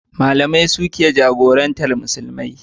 Malamai su ke jagorantar Musulmi.